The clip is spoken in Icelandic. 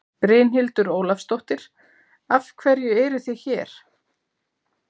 Brynhildur Ólafsdóttir: Af hverju eruð þið hér?